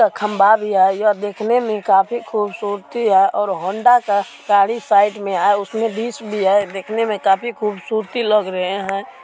खम्भा भी है यह देखने में काफी खूबसूरती है और हंडा का गाड़ी साइड में है उसमे भी है देखने में काफी खूबसूरती लग रहे है।